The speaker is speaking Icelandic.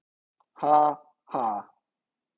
Ha- ha.